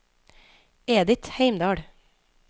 Edith Heimdal